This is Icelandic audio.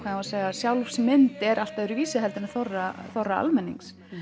sjálfsmynd er allt öðruvísi en þorra þorra almennings